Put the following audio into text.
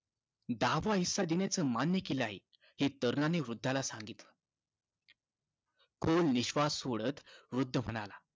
दहावा हिस्सा देण्याचं मान्य केलं आहे हे तरुणाने वृद्धाला सांगितलं. खोल निश्वास सोडत वृद्ध म्हणाला,